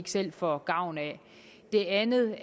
selv får gavn af det andet